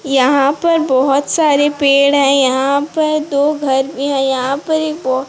यहां पर बहुत सारे पेड़ हैं यहां पर दो घर भी है यहां पर एक बो--